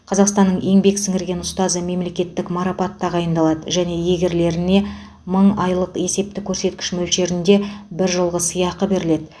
қазақстанның еңбек сіңірген ұстазы мемлекеттік марапат тағайындалады және иегерлеріне мың айлық есептік көрсеткіш мөлшерінде бір жылғы сыйақы беріледі